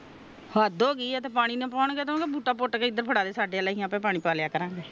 ਹੱਦ ਹੋਗੀ ਆ ਓਹਨੂੰ ਪਾਣੀ ਨਾ ਪਾਉਣ ਗਏ ਤਾ ਉਹਨੂੰ ਕਹਿ ਬੂਟਾ ਪੁੱਟ ਕੇ ਸਾਨੂੰ ਇਧਰ ਫੜਾ ਦੇ ਅਸੀਂ ਆਪਿ ਪਾ ਲਿਆ ਕਰਾਗਏ